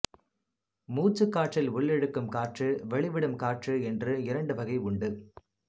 மூச்சுக் காற்றில் உள்ளிழுக்கும் காற்று வெளிவிடும் காற்று என்று இரண்டு வகை உண்டு